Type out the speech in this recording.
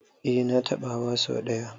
Eh na taɓa hawa so ɗaya.